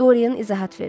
Doryan izahat verdi.